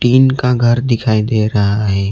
Tin का घर दिखाई दे रहा है।